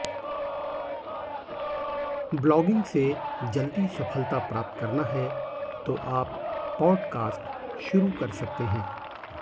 blogging से जल्दी सफलता प्राप्त करना है तो आप पॉडकास्ट शुरू कर सकते हैं